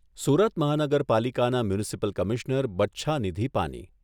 સુરત મહાનગરપાલિકાના municipal commissioner Bachhanidhi પાની.